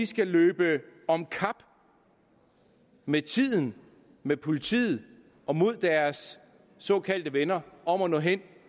skal løbe om kap med tiden med politiet og mod deres såkaldte venner om at nå hen